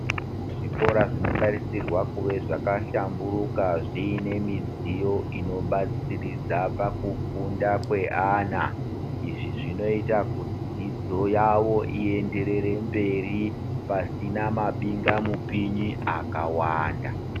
Zvikora zvinotarisirwa kuve zvakahlamburuka zvine midziyo inobatsiridza pakufunda kweana izvi zvinoita dzidzo yavo iyenderere mberi pasina mabinga mupinyi akawanda.